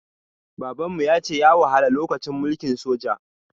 Baban mu ya ce ya wahala lokacin mulkin soja.